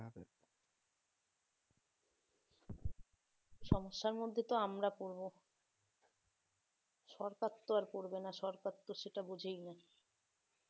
সমস্যার মধ্যে তো আমরা পরবো সরকার তো আর করবে না সরকার তো সেটা বোঝেই না